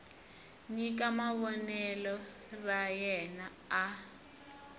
nyika vonelo ra yena a